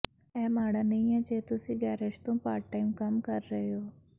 ਇਹ ਮਾੜਾ ਨਹੀਂ ਹੈ ਜੇ ਤੁਸੀਂ ਗੈਰੇਜ ਤੋਂ ਪਾਰਟ ਟਾਈਮ ਕੰਮ ਕਰ ਰਹੇ ਹੋ